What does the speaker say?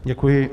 Děkuji.